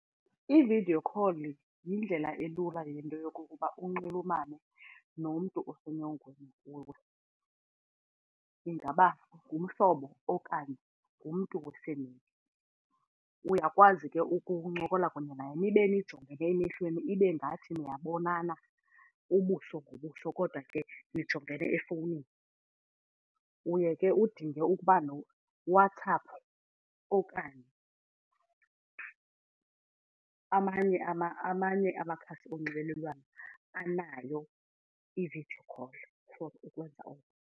I-video call yindlela elula yinto yokokuba unxulumane nomntu osenyongweni kuwe ingaba ngumhlobo okanye ngumntu . Uyakwazi ke ukuncokola kunye naye nibe nijongene emehlweni ibe ngathi niyabonana ubuso ngobuso kodwa ke nijongene efowunini. Uye ke udinge ukuba WhatsApp okanye amanye amakhasi onxibelelwano anayo i-video call for ukwenza oko.